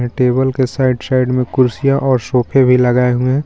Table के side side में कुर्सियां और सोफे भी लगाए हुए.